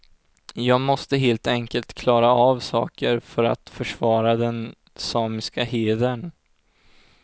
Jag måste helt enkelt klara av saker för att försvara den samiska hedern.